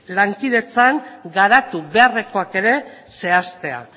lankidetzan garatu beharrekoak ere zehaztea